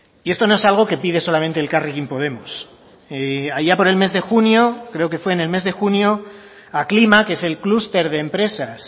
y esto no es algo que pide solamente elkarrekin podemos allá por el mes de junio creo que fue en el mes de junio aclima que es el clúster de empresas